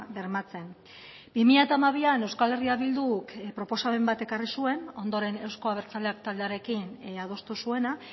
bermatzen bi mila hamabian euskal herria bilduk proposamen bat ekarri zuen ondoren eusko abertzaleak taldearekin adostu zuena